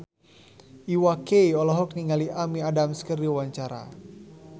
Iwa K olohok ningali Amy Adams keur diwawancara